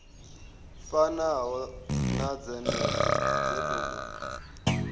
fanaho na dzenedzo dzo tou